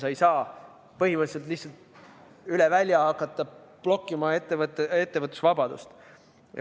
Sa ei tohi põhimõtteliselt lihtsalt üle välja hakata blokkima ettevõtjate ettevõtlusvabadust.